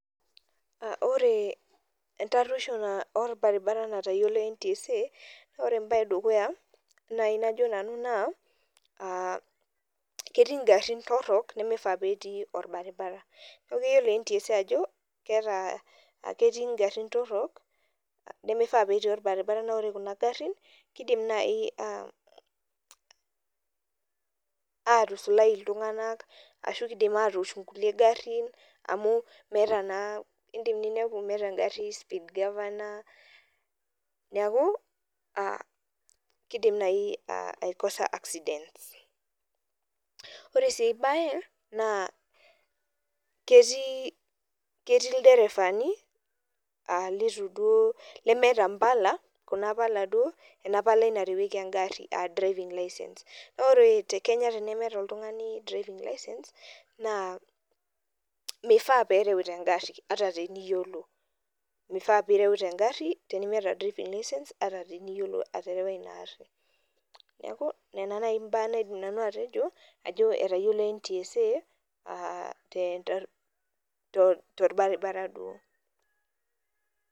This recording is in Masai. Ore entarjosho orbaribara natayiolo ntsa na ore embar edukuya najo nanu na ketii ngarun torok nimifaa petii orbaribara na ore kuja garin kidim nai atusulai ltunganak amu indim ninepu meeta engari speed governor niidim ai causer accident ore si aibae na ketii ilderefani lemeeta mbala kuna pala narewieki engari kuna driving license na or tekenya tenemeeta oltungani na mifaa pireuta ata teniyiolo aterewa inaari neaku nona mbaa naidim atejo etayiolo ntsa torbaribara